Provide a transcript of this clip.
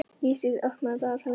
Ísdís, opnaðu dagatalið mitt.